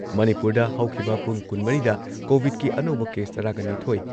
ꯃꯅꯤꯄꯨꯔꯗ ꯍꯧꯈꯤꯕ ꯄꯨꯡ ꯀꯨꯟꯃꯔꯤꯗ ꯀꯣꯚꯤꯗꯀꯤ ꯑꯅꯧꯕ ꯀꯦꯁ ꯇꯔꯥꯒ ꯅꯤꯊꯣꯏ